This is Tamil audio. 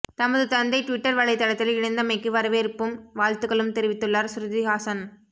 தமது தந்தை ட்விட்டர் வலைத் தளத்தில் இணைந்தமைக்கு வரவேற்பும் வாழ்த்துக்களும் தெரிவித்துள்ளார் ஸ்ருதி ஹாசன்